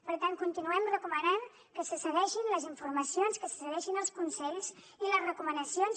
per tant continuem recomanant que se segueixin les informacions que segueixin els consells i les recomanacions